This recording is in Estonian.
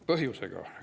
Põhjusega.